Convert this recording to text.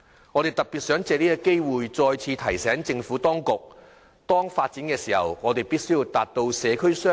我特別藉此機會再次提醒政府當局，發展與社區設施必須達致雙贏。